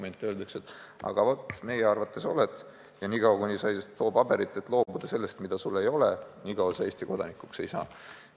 Ent talle öeldakse, et aga vaat meie arvates oled ja niikaua, kui sa ei too paberit, et sa oled loobunud sellest, mida sul ei ole, niikaua sa Eesti kodanikuks ei saa.